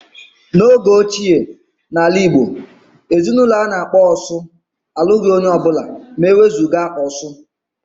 N'oge ochie n'ala Igbo, ezinaụlọ a na-akpọ "osu" alụghị onye ọbụla ma ewezuga "osu"